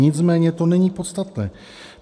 Nicméně to není podstatné.